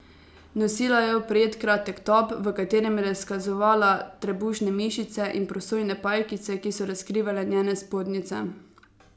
Nosila je oprijet kratek top, v katerem je razkazovala trebušne mišice, in prosojne pajkice, ki so razkrivale njene spodnjice.